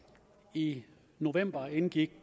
i november indgik